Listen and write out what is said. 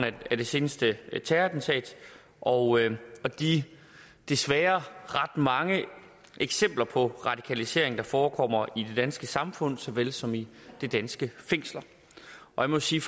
af det seneste terrorattentat og de desværre ret mange eksempler på radikalisering der forekommer i det danske samfund såvel som i de danske fængsler jeg må sige